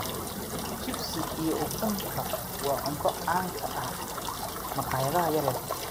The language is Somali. Chips iyo ukunta waa cunto caan ka ah maqaayadaha yaryar.